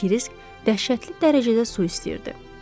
Kirisk dəhşətli dərəcədə su istəyirdi.